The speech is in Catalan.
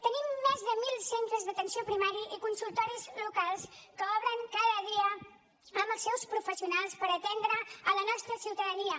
tenim més de mil centres d’atenció primària i consultoris locals que obren cada dia amb els seus professionals per atendre la nostra ciutadania